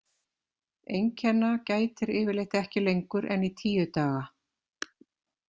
Einkenna gætir yfirleitt ekki lengur en í tíu daga.